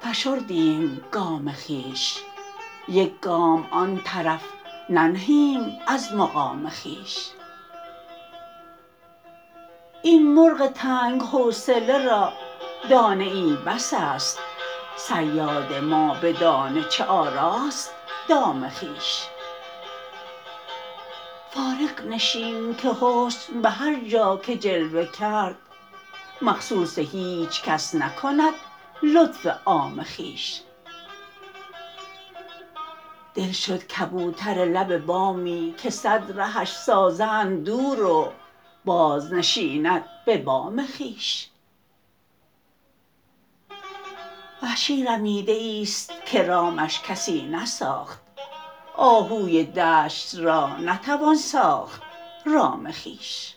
فشردیم گام خویش یک گام آن طرف ننهیم از مقام خویش این مرغ تنگ حوصله را دانه ای بس است صیاد ما به دانه چه آراست دام خویش فارغ نشین که حسن به هر جا که جلوه کرد مخصوص هیچکس نکند لطف عام خویش دل شد کبوتر لب بامی که سد رهش سازند دور و باز نشیند به بام خویش وحشی رمیده ایست که رامش کسی نساخت آهوی دشت را نتوان ساخت رام خویش